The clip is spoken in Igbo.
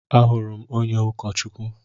Ahụrụ m onye ụkọchukwu.